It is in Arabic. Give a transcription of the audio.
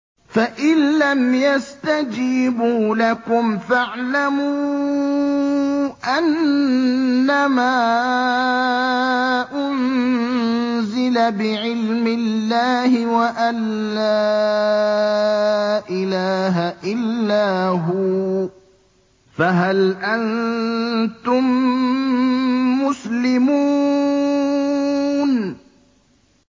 فَإِلَّمْ يَسْتَجِيبُوا لَكُمْ فَاعْلَمُوا أَنَّمَا أُنزِلَ بِعِلْمِ اللَّهِ وَأَن لَّا إِلَٰهَ إِلَّا هُوَ ۖ فَهَلْ أَنتُم مُّسْلِمُونَ